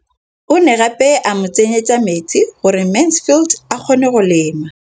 O ne gape a mo tsenyetsa metsi gore Mansfield a kgone go lema.